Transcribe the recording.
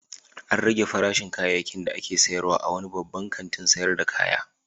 An rage farashin kayayyakin da ake sayarwa a wani babban kantin sayar da kaya.